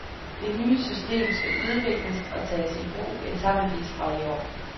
Det nye system skal udvikles og tages i brug etapevis fra i år.